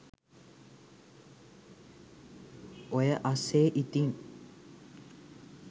ඔය අස්සේ ඉතින්